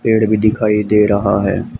पेड़ भी दिखाई दे रहा है।